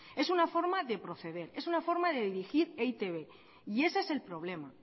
es una forma de proceder es una forma de dirigir e i te be y ese es el problema